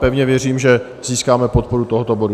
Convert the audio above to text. Pevně věřím, že získáme podporu tohoto bodu.